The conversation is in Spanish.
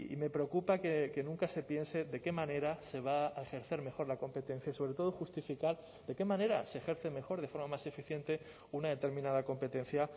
me preocupa que nunca se piense de qué manera se va a ejercer mejor la competencia sobre todo justificar de qué manera se ejerce mejor de forma más eficiente una determinada competencia